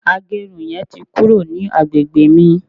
agerun yen ti kuro ni agbegbe mi